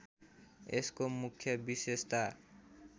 यसको मुख्य विशेषता